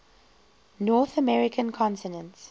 north american continent